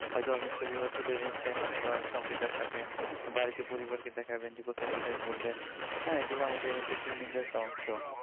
হয়তো আপনি ছবিগুলো তুলে এনেছেন হয়তো বা কাউকে দেখাবেন বাড়ি তে পরিবারকে দেখাবেন যে কোথায় কোথায় ঘুরলেন হ্যাঁ এগুলো আমাদের ইন্টারটেইনমেন্ট এর একটা অংশ